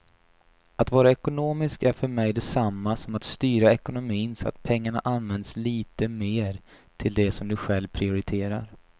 Att vara ekonomisk är för mig detsamma som att styra ekonomin så att pengarna används lite mer till det som du själv prioriterar.